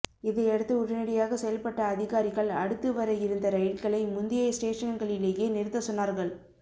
இதையடுத்து உடனடியாக செயல்பட்ட அதிகாரிகள் அடுத்து வர இருந்த ரயில்களை முந்தைய ஸ்டேஷன்களிலேயே நிறுத்த சொன்னார்கள்